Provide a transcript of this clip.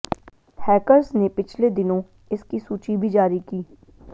hackers ने पिछले दिनों इसकी सूची भी जारी की